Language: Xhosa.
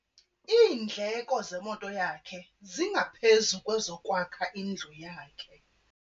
Iindleko zemoto yakhe zingaphezu kwezokwakha indlu yakhe.